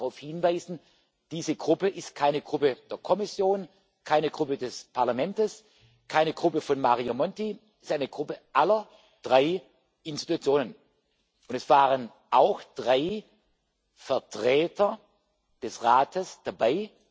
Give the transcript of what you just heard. Ich darf darauf hinweisen Diese Gruppe ist keine Gruppe der Kommission, keine Gruppe des Parlaments, keine Gruppe von Mario Monti, es ist eine Gruppe aller drei Institutionen, und es waren auch drei Vertreter des Rates dabei.